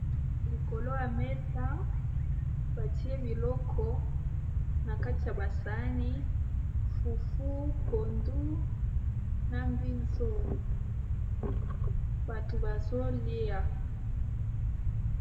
Likolo ya mesa batie biloko na kati ya basani fufu pondu na mbizo bato bazolia.